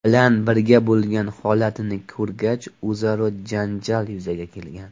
bilan birga bo‘lgan holatini ko‘rgach o‘zaro janjal yuzaga kelgan.